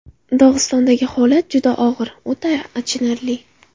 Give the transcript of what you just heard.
Dog‘istondagi holat juda og‘ir, o‘ta achinarli.